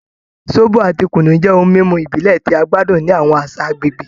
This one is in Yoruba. Zobo ati kunu jẹ ohun mimu ibile ti a gbadun ni awọn aṣa agbegbe